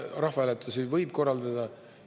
Rahvahääletusi võib korraldada.